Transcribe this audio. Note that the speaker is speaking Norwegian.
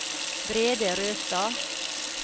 Brede Røstad